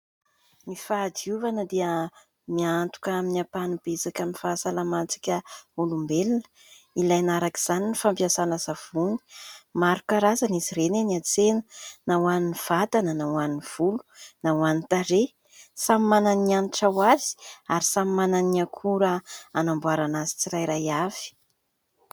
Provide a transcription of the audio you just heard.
Ny fahadiovana dia miantoka amin'ny ampahany betsaka amin'ny fahasalamantsika olombelona ; ilaina araka izany ny fampiasana savony, maro karazana izy ireny eny an-tsena na ho an'ny vatana na ho an'ny volo na ho an'ny tarehy. Samy manana ny hanitra ho azy ary samy manana ny akora anamboarana azy tsirairay avy.